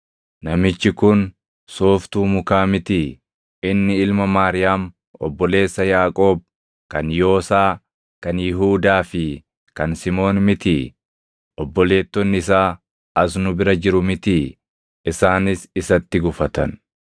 Namichi kun sooftuu mukaa mitii? Inni ilma Maariyaam, obboleessa Yaaqoob, kan Yoosaa, kan Yihuudaa fi kan Simoon mitii? Obboleettonni isaa as nu bira jiru mitii?” Isaanis isatti gufatan.